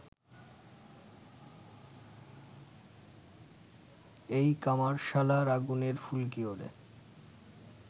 এই কামারশালার আগুনের ফুলকি ওড়ে